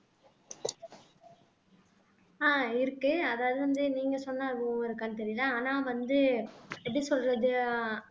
ஆஹ் இருக்கு அதாவது வந்து நீங்க சொன்ன அனுபவம் இருக்கானு தெரியல ஆனா வந்து எப்படி சொல்றது